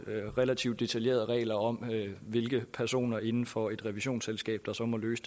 relativt detaljerede regler om hvilke personer inden for et revisionsselskab der så må løse